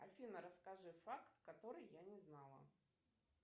афина расскажи факт который я не знала